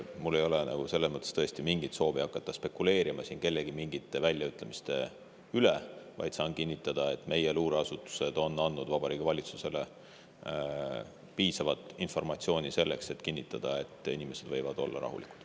Mul ei ole tõesti mingit soovi hakata spekuleerima siin kellegi mingite väljaütlemiste üle, saan vaid kinnitada, et meie luureasutused on andnud Vabariigi Valitsusele piisavalt informatsiooni, et saaks kinnitada: inimesed võivad olla rahulikud.